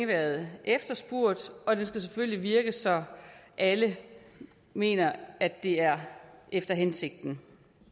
været efterspurgt og det skal selvfølgelig virke så alle mener at det er efter hensigten